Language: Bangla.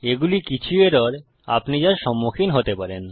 এগুলি কিছু এরর আপনি যার সম্মুখীন হতে পারেন